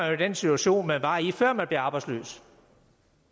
i den situation man var i før man blev arbejdsløs